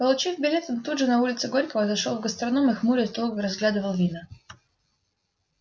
получив билет он тут же на улице горького зашёл в гастроном и хмурясь долго разглядывал вина